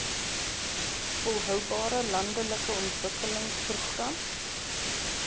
volhoubare landelike ontwikkelingsprogram